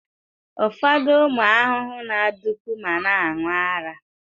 Ụfọdụ ụmụ ahụhụ na-adụpu ma na-aṅụ ara.